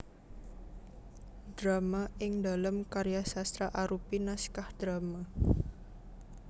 Drama ingdalem karya sastra arupi naskah drama